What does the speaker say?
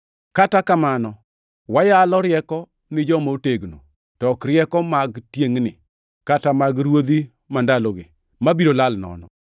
Kata kamano, wayalo rieko ni joma otegno, to ok rieko mag tiengʼni, kata mag ruodhi mandalogi, mabiro lal nono.